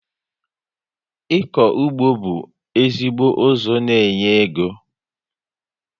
Ịkọ ụgbọ bú ezigbo ụzọ n'enye égo